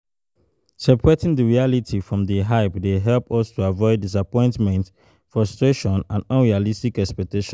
Separating di reality from di hype dey help us to avoid disappointment, frustration and unrealistic expectations.